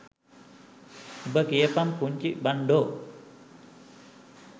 උබ කියපන් පුන්චි බන්ඩෝ